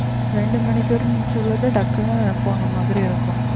ரெண்டு மணிக்கு சொல்றது டக்குனு போன மாதிரி இருக்கும்